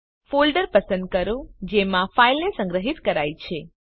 folder પસંદ કરો જેમાં ફાઈલને સંગ્રહિત કરાઈ છે